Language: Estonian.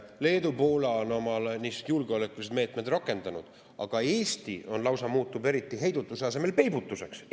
Leedu ja Poola on niisugused julgeolekulised meetmed rakendanud, aga Eesti lausa muutub heidutuse asemel peibutuseks.